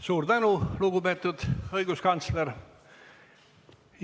Suur tänu, lugupeetud õiguskantsler!